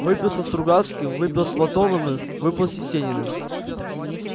выпил со стругацким выпил с платоновым выпал с есениным